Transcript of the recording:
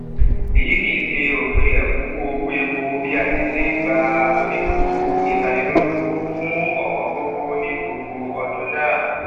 èyí kìí ṣe òpin èkúnwó owó epo bí a ti n gba onírúurú ìtanilólobó fún òwóngógó ní gbogbo ọdún náà